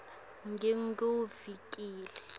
nginguvukile